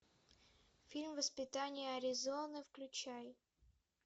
фильм воспитание аризоны включай